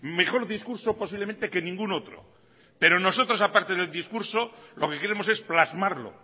mejor discurso posiblemente que ningún otro pero nosotros aparte del discurso lo que queremos es plasmarlo